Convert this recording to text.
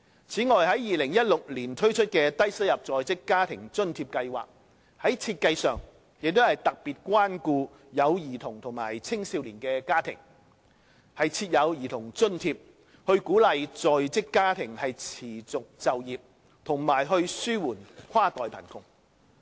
此外，在2016年推出的低收入在職家庭津貼計劃，在設計上也特別關顧有兒童和青少年的家庭，設有兒童津貼，以鼓勵在職家庭持續就業，紓緩跨代貧窮。